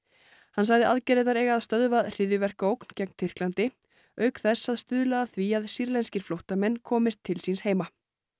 hann sagði aðgerðirnar eiga að stöðva hryðjuverkaógn gegn Tyrklandi auk þess að stuðla að því að sýrlenskir flóttamenn komist til síns heima